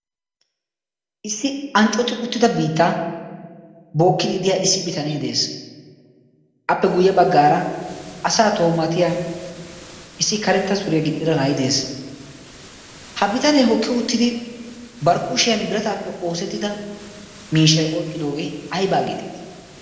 issi anccoti uttida biitta bookkidi diya issi bitanee de'ees. appe guyye baggaara asa toomatiya issi karetta suriyaa gixxida nay de'ees. ha bitanee hokki uttidi barkkuushiyan birataappe oosettida miishay oyqqidoogee aybaa geetettii?